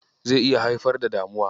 zai iya haifar da damuwa.